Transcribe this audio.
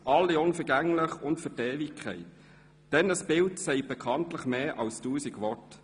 allesamt unvergänglich und für die Ewigkeit, denn ein Bild sagt bekanntlich mehr als tausend Worte.